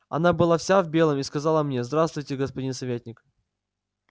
она была вся в белом и сказала мне здравствуйте господин советник